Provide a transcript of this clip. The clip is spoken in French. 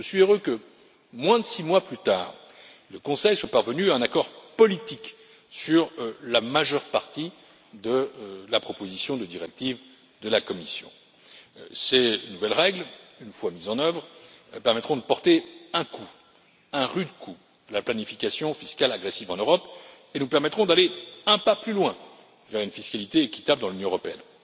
Je suis heureux que moins de six mois plus tard, le Conseil soit parvenu à un accord politique sur la majeure partie de la proposition de directive de la Commission. Ces nouvelles règles, une fois mises en œuvre, permettront de porter un coup, un rude coup, à la planification fiscale agressive en Europe et nous permettront d'aller un pas plus loin, vers une fiscalité équitable dans l'Union européenne.